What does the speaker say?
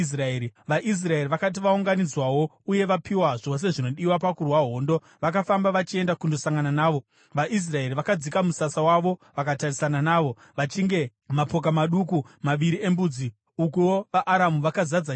VaIsraeri vakati vaunganidzwawo uye vapiwa zvose zvinodiwa pakurwa hondo, vakafamba vachienda kundosangana navo. VaIsraeri vakadzika musasa wavo vakatarisana navo, vachinge mapoka maduku maviri embudzi, ukuwo vaAramu vakazadza nyika.